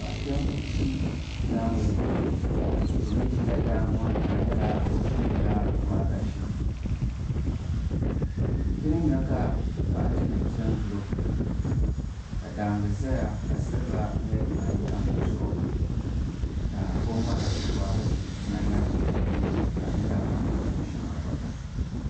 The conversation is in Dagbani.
Paɣa kpɛm n ʒi daangi ni o mii ʒila daangi ŋo ni ka di nyɛla o chimdila waagashe ti ni nyɛ ka noɣati nim pɛ n gili o ka daangi ʒɛya ka silba nyɛ din tam di zuɣu ka o ŋmahari waagashe ŋan na bɛ o nuuni ka di nyɛla o ni pun chim shʋŋa gba